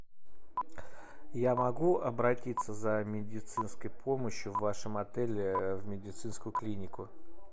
я могу обратиться за медицинской помощью в вашем отеле в медицинскую клинику